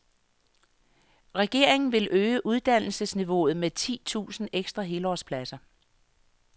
Regeringen vil øge uddannelsesniveauet med ti tusind ekstra helårspladser.